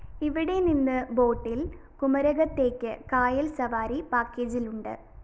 ഇവിടെ നിന്ന് ബോട്ടില്‍ കുമരകത്തേയ്ക്ക് കായല്‍ സവാരി പാക്കേജിലുണ്ട്